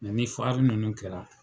ni nunnu kɛra .